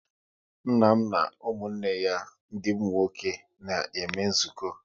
Nna m na ụmụnne ya ndị nwoke na-eme nzukọ